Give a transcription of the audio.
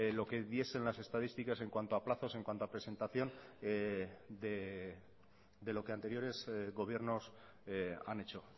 lo que diesen las estadísticas en cuanto a plazos en cuanto a presentación de lo que anteriores gobiernos han hecho